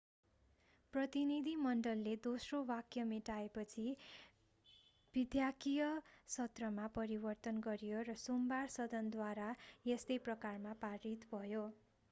प्रतिनिधिमण्डलले दोस्रो वाक्य मेटाएपछि विधायकीय सत्रमा परिवर्तन गरियो र सोमबार सदनद्वारा यस्तै प्रकारमा पारित भयो